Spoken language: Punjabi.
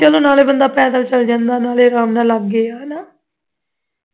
ਚਲੋ ਬੰਦਾ ਪੈਦਲ ਚਲਾ ਜਾਂਦਾ ਹਾਂ ਨਾਲੇ ਲਗੇ ਹੈ